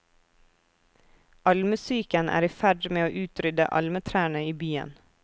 Almesyken er i ferd med å utrydde almetrærne i byen.